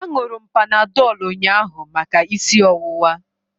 Aṅụru m Panadọlụ ụnyaahụ maka isi ọwụwa.